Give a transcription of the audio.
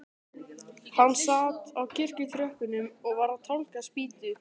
Hann sat á kirkjutröppunum og var að tálga spýtu.